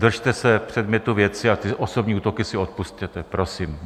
Držte se předmětu věci a ty osobní útoky si odpusťte, prosím.